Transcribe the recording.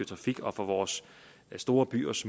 trafik og for vores store byers